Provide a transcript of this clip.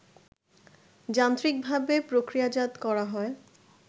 যান্ত্রিকভাবে প্রক্রিয়াজাত করা হয়